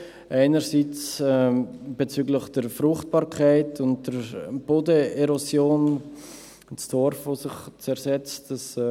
Zum einen bezüglich der Fruchtbarkeit und der Bodenerosion, der Torf, welcher sich zersetzt;